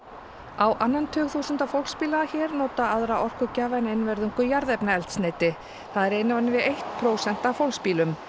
á annan tug þúsunda fólksbíla hér nota aðra orkugjafa en einvörðungu jarðefnaeldsneyti það er innan við eitt prósent af fólksbílum